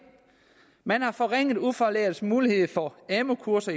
man har forlænget ufaglærtes mulighed for amu kurser